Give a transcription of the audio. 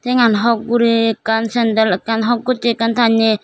tengan hok guri ekkan sendel ekkan hok goche ekkan tanne.